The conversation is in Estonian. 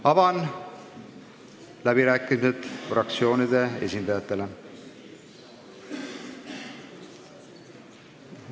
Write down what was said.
Avan läbirääkimised fraktsioonide esindajatele.